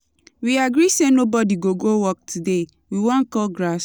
We agree say nobody go work today, we wan cut grass.